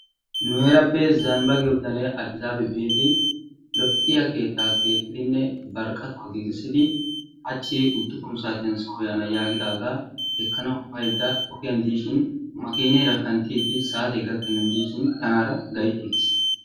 Nu heerappe zanbba giyo bitanee Addisaabi biidi lo'iya keettaa keexxidinne bari qatuwa giigissidi hachchi uddufun saatiyan soo yaana yaagidaagaa ekkanawu baydda ogiyan diishin makineera kanttiiddi saatee gakkennan diishin tanaara gayttiigiis.